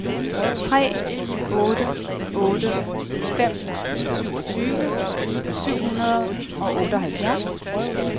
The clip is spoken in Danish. tre otte otte fem syvogtyve syv hundrede og otteoghalvfjerds